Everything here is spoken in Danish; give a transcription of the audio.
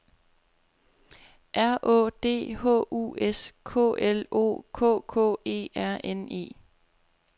R Å D H U S K L O K K E R N E